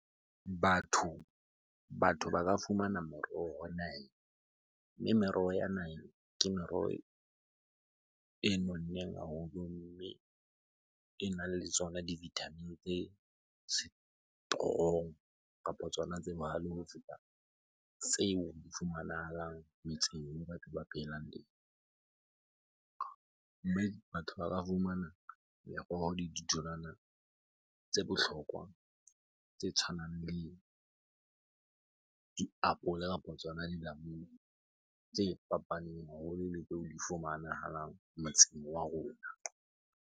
Batho ba ka fumana moroho naheng. Mme meroho ya naheng ke meroho e nonneng haholo mme e nang le tsona di vitamin tse strong kapo tsona tse bohale ho feta tseo di fumanahalang metseng moo batho ba phelang teng. Mme batho ba ka fumana meroho le ditholwana tse bohlokwa tse tshwanang le diapole kapo tsona dilamunu tse fapaneng haholo le tseo di fumanahalang motseng wa rona.